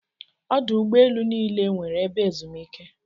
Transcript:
Ọdụ ụgbọ elu niile nweere ebe ezumike.